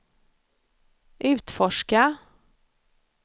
utforska